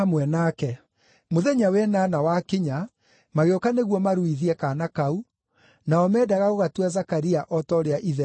Mũthenya wa ĩnana wakinya, magĩũka nĩguo maruithie kaana kau, nao meendaga gũgatua Zakaria o ta ũrĩa ithe eetagwo,